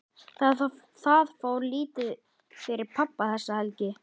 Það fór lítið fyrir pabba þessa helgi.